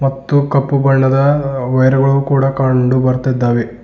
ಮತ್ತು ಕಪ್ಪು ಬಣ್ಣದ ವೈರ್ಗಳು ಕೂಡ ಕಂಡು ಬರ್ತಿದ್ದಾವೆ.